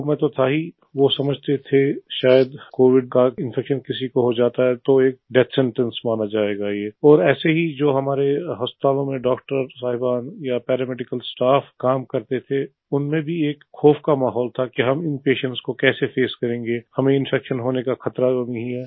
लोगो में तो था ही वो समझते थे शायद कोविड का इन्फेक्शन अगर किसी को हो जाता है तो डेथ सेंटेंस माना जायेगा ये और ऐसे में हमारे हस्पताल में डॉक्टर साहिबान या पैरामेडिकल स्टाफ काम करते थे उनमें भी एक खौफ़ का माहौल था कि हम इन पेशेंट को कैसे फेस करेंगे हमें इन्फेक्शन होने का ख़तरा तो नहीं है